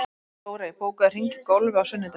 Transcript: Dórey, bókaðu hring í golf á sunnudaginn.